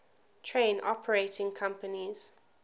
train operating companies